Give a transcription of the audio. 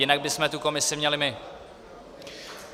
Jinak bychom tu komisi měli my.